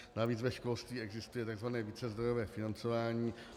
Navíc ve školství existuje tzv. vícezdrojové financování.